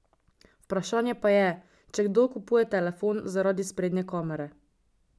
Vprašanje pa je, če kdo kupuje telefon zaradi sprednje kamere.